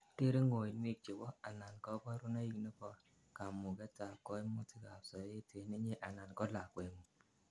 tere ngoinwek chebo anan kaborunoik nebo kamuget ab kaimutikab sobet en inye anan ko lakwengung